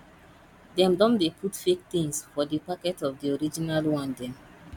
dem don dey put fake tins for di packet of di original one dem